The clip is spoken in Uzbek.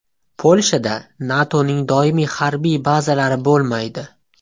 Polshada NATOning doimiy harbiy bazalari bo‘lmaydi.